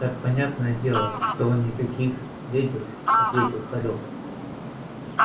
так понятное дело что никаких вёдер ответил хорёк